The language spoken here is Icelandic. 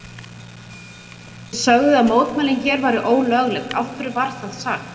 Telma: Þið sögðuð að mótmælin hér væru ólögleg, af hverju var það sagt?